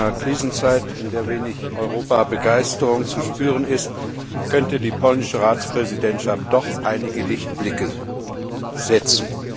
In einer Krisenzeit, in der wenig Europa Begeisterung zu spüren ist, könnte die polnische Ratspräsidentschaft doch einige Lichtblicke setzen.